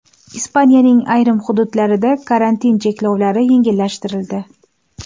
Ispaniyaning ayrim hududlarida karantin cheklovlari yengillashtirildi.